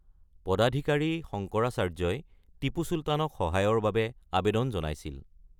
পদাধিকাৰী শংকৰাচাৰ্যই টিপু চুলতানক সহায়ৰ বাবে আবেদন জনাইছিল৷